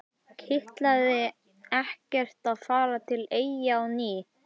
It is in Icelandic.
Kitlaði ekkert að fara til Eyja á ný?